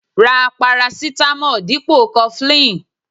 Ra parasitamo dipo cofflin.